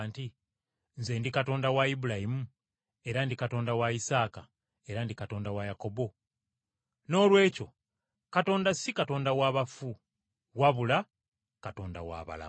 ‘Nze, ndi Katonda wa Ibulayimu era ndi Katonda wa Isaaka era ndi Katonda wa Yakobo?’ Noolwekyo Katonda si Katonda wa bafu wabula Katonda wa balamu.”